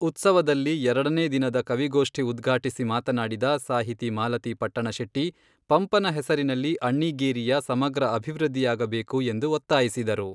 ಉತ್ಸವದಲ್ಲಿ ಎರಡನೇ ದಿನದ ಕವಿಗೋಷ್ಠಿ ಉದ್ಘಾಟಿಸಿ ಮಾತನಾಡಿದ ಸಾಹಿತಿ ಮಾಲತಿ ಪಟ್ಟಣಶೆಟ್ಟಿ, ಪಂಪನ ಹೆಸರಿನಲ್ಲಿ ಅಣ್ಣಿಗೇರಿಯ ಸಮಗ್ರ ಅಭಿವೃದ್ಧಿಯಾಗಬೇಕು ಎಂದು ಒತ್ತಾಯಿಸಿದರು.